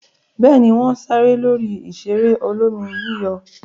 Bẹ́ẹ̀ ni, wọ́n ṣeré lórí ìṣeré olómi-yíyọ̀.